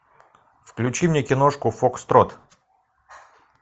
включи мне киношку фокстрот